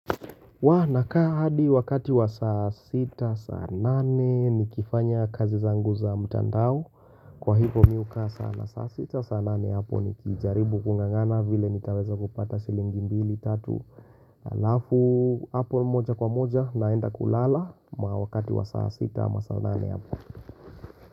Naka hadi wakati wa saa 6, saa 8 ni kifanya kazi zangu za mtandao kwa hivyo miuka saa na saa 6, saa 8 ni kijaribu kungangana vile nitaweza kupata shilingi mbili tatu alafu apo moja kwa moja naenda kulala ma wakati wa saa 6, saa 8.